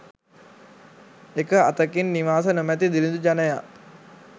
එක අතකින් නිවාස නොමැති දිළිඳු ජනයා